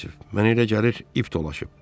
Mənə elə gəlir ip dolaşıb.